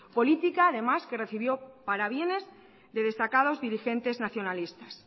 política además que recibió para bienes de destacados dirigentes nacionalistas